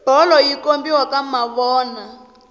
bolo yi kombiwa ka mavona